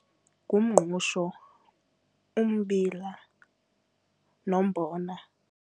Ngumngqusho, umbila nombona.